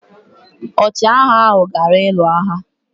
Ọchịagha ahụ gara ịlụ agha.